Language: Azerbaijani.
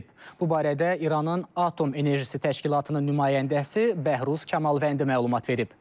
Bu barədə İranın Atom Enerjisi Təşkilatının nümayəndəsi Bəhruz Kamalvəndi məlumat verib.